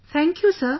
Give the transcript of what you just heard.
Thank you Sir